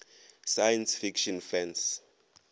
science fiction fans